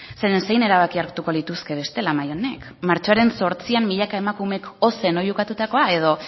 zeren zein erabaki hartuko lituzke bestela mahai honek martxoaren zortzian milaka emakumeek ozen oihukatutakoa edo